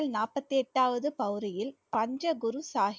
நாற்பத்தி எட்டாவது பௌரியல் பஞ்ச குரு சாஹிப்